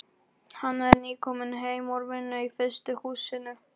Hann er nýkominn heim úr vinnu í frystihúsinu.